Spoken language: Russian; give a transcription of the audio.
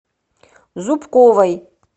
зубковой